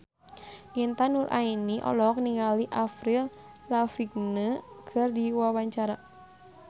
Intan Nuraini olohok ningali Avril Lavigne keur diwawancara